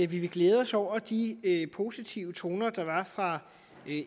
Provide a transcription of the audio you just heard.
vil glæde os over de positive toner der var fra